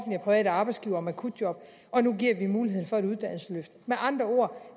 private arbejdsgivere om akutjob og nu giver vi muligheden for et uddannelsesløft med andre ord